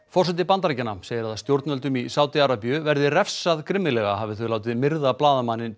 forseti Bandaríkjanna segir að stjórnvöldum í Sádi Arabíu verði refsað grimmilega hafi þau látið myrða blaðamanninn